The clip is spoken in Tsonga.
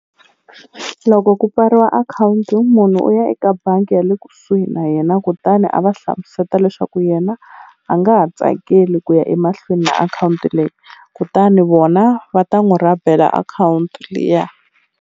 Loko ku pfariwa akhawunti munhu u ya eka bangi ya le kusuhi na yena kutani a va hlamuseta leswaku yena a nga ha tsakeli ku ya emahlweni na akhawunti leyi kutani vona va ta n'wu rhabela akhawunti liya.